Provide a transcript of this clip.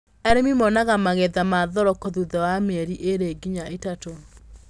Arĩmi monaga magetha ma thoroko thutha wa mĩeri ĩrĩ nginya ĩtatũ.